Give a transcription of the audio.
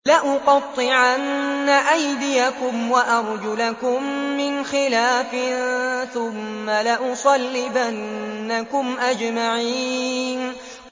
لَأُقَطِّعَنَّ أَيْدِيَكُمْ وَأَرْجُلَكُم مِّنْ خِلَافٍ ثُمَّ لَأُصَلِّبَنَّكُمْ أَجْمَعِينَ